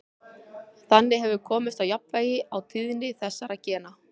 Þannig hefur komist á jafnvægi á tíðni þessara gena.